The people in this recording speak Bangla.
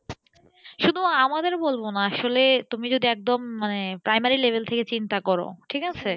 শুধু আমাদের বলবো না আসলে তুমি যদি একদম মানে primary level থেকে চিন্তা করো ঠিক আছে